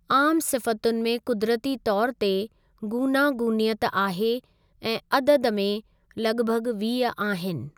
आम सिफ़तुनि में कुदरती तौरु ते गूनागूनियत आहे ऐं अददु में लगि॒भगि॒ वीह आहिनि।